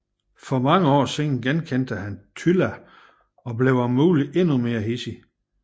For mange år siden genkendte han Tylla og blev om muligt endnu mere hidsig